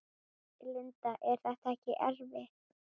Linda: Er þetta ekkert erfitt?